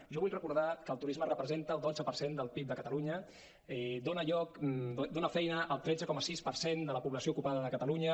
jo vull recordar que el turisme representa el dotze per cent del pib de catalunya dona feina al tretze coma sis per cent de la població ocupada de catalunya